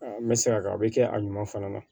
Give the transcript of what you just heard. n bɛ se ka a bɛ kɛ a ɲuman fana na